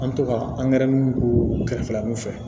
An mi to ka kɛrɛfɛla mun fɛ